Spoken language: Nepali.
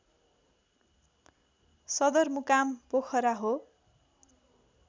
सदरमुकाम पोखरा हो